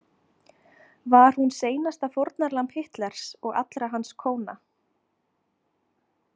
Var hún seinasta fórnarlamb Hitlers og allra hans kóna?